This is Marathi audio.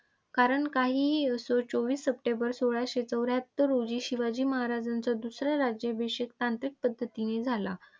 कारण काहीही असो चोवीस सप्टेंबर सोळाशे चौऱ्याहत्तर रोजी शिवाजी महाराजांचा दुसरा राज्याभिषेक तांत्रिक पद्धतीने झाला.